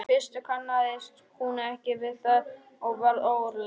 Í fyrstu kannaðist hún ekki við það og varð óróleg.